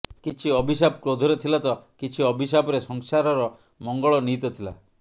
କିଛି ଅଭିଶାପ କ୍ରୋଧରେ ଥିଲା ତ କିଛି ଅଭିଶାପରେ ସଂସାରର ମଙ୍ଗଳ ନିହିତ ଥିଲା